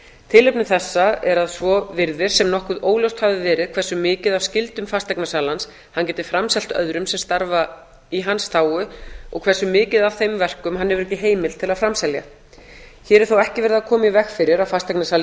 tilefni þessa er að svo virðist sem nokkuð ljóst hafi verið hversu mikið af skyldum fasteignasalans hann geti framselt öðrum sem starfa í hans þágu og hversu mikið af þeim verkum hann hefur ekki heimild til að framselja hér er þó ekki verið að koma í veg fyrir að fasteignasali